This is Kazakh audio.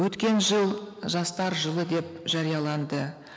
өткен жыл жастар жылы деп жарияланды